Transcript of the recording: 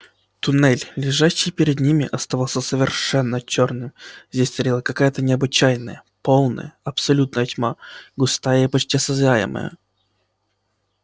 туннель лежащий перед ними оставался совершенно чёрным здесь царила какая-то необычайная полная абсолютная тьма густая и почти осязаемая